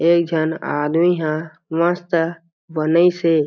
एक झन आदमी ह मस्त बनाईसे।